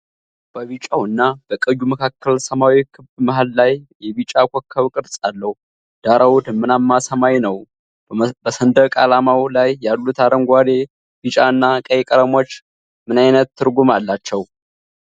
በቢጫው እና በቀዩ መካከል ሰማያዊ ክብ መሃል ላይ የቢጫ ኮከብ ቅርጽ አለው፤ ዳራው ደመናማ ሰማይ ነው። በሰንደቅ ዓላማው ላይ ያሉት አረንጓዴ፣ ቢጫ እና ቀይ ቀለሞች ምን ዓይነት ትርጉም አላቸው?